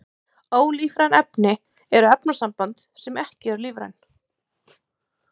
Ólífræn efni eru öll efnasambönd sem eru ekki lífræn.